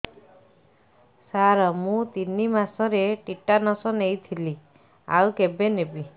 ସାର ମୁ ତିନି ମାସରେ ଟିଟାନସ ନେଇଥିଲି ଆଉ କେବେ ନେବି